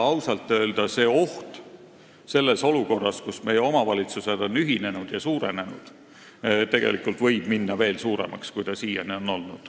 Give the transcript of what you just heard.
Ausalt öelda see oht – selles olukorras, kus meie omavalitsused on ühinenud ja suurenenud – võib minna veel suuremaks, kui ta siiani on olnud.